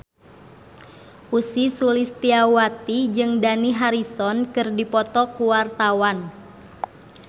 Ussy Sulistyawati jeung Dani Harrison keur dipoto ku wartawan